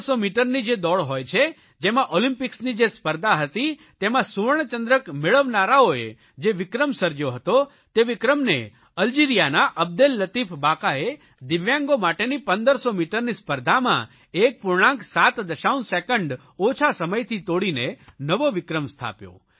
1500 મીટરની જે દોડ હોય છે જેમાં ઓલિમ્પિકસની જે સ્પર્ધા હતી તેમાં સુવર્ણચંદ્રક મેળવનારાઓ જે વિક્રમ સર્જયો હતો તે વિક્રમને અલ્જિરિયાના અબ્દેલલતીફ બાકાએ દિવ્યાંગો માટેની 1500 મીટરની સ્પર્ધામાં 1 પૂર્ણાંક 7 દશાંશ સેકન્ડ ઓછા સમયથી તોડીને નવો વિક્રમ સ્થાપ્યો